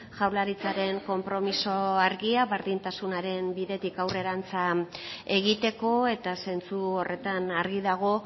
jaurlaritzaren konpromiso argia berdintasunaren bidetik aurrerantza egiteko eta zentzu horretan argi dago